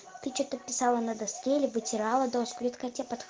ты что-то писала на доске либо